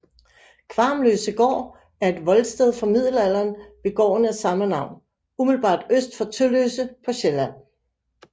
Kvarmløsegård er et voldsted fra middelalderen ved gården af samme navn umiddelbart øst for Tølløse på Sjælland